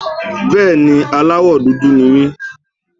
Bẹ́ẹ̀ni, aláwọ̀ dúdú ni mí.